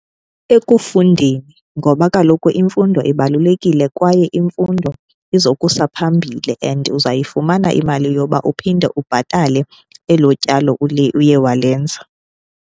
Ekufundeni ngoba kaloku imfundo ibalulekile kwaye imfundo izokusa phambile, and uzawuyifumana imali yoba uphinde ubhatale elo tyalo uye walenza.